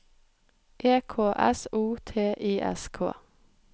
E K S O T I S K